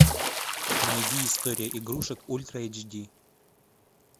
найди история игрушек ультра эйч ди